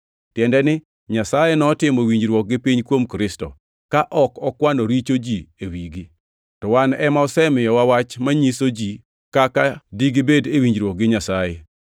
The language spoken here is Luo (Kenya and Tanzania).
tiende ni, Nyasaye notimo winjruok gi piny kuom Kristo, ka ok okwano richo ji e wigi. To wan ema osemiyowa wach manyiso ji kaka digibed e winjruok gi Nyasaye.